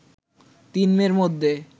তিন মেয়ের মধ্যে